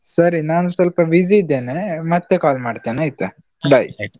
ಸರಿ ನಾನು ಸ್ವಲ್ಪ busy ಇದ್ದೇನೆ, ಮತ್ತೆ call ಮಾಡ್ತೇನೆ ಆಯ್ತಾ? .